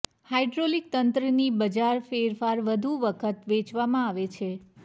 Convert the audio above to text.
hydraulic તંત્રની બજાર ફેરફાર વધુ વખત વેચવામાં આવે છે